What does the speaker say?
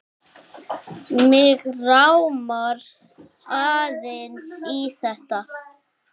Mig rámar aðeins í þetta.